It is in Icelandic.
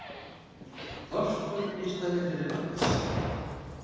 Þorskur í staðinn fyrir lax